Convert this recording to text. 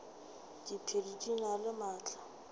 diphedi di na le maatla